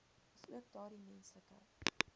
asook daardie menslike